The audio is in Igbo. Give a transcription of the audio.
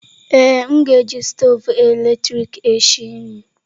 Ee, m ga-eji stoovu eletrik esi nri.